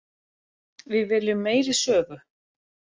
Við viljum meiri sögu.